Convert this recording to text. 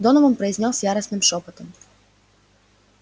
донован произнёс яростным шёпотом